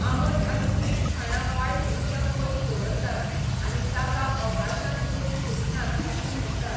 आबंट आनी तीख खाणा वायट उर्जा पयस दवरतात आनी ताका अकाशांत वचूंक दिनात अशें म्हणटात